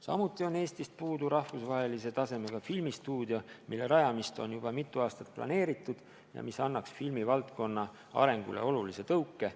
Samuti on Eestis puudu rahvusvahelise tasemega filmistuudio, mille rajamist on juba mitu aastat planeeritud ja mis annaks filmivaldkonna arengule tugeva tõuke.